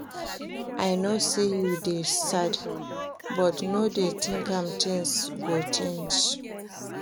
I no say you dey sad but no dey think am things go change